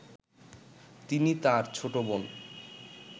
তিনি তার ছোটবোন